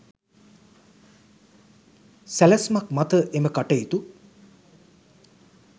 සැලැස්මක් මත එම කටයුතු